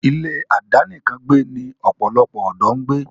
ilé àdánìkàn gbẹ́ ni pòlòlopò òdó ń gbé.